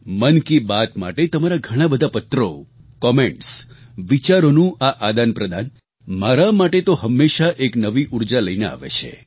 મન કી બાત માટે તમારા ઘણા બધા પત્રો કોમેન્ટસ વિચારોનું આ આદાનપ્રદાન મારા માટે તો હંમેશાં એક નવી ઊર્જા લઈને આવે છે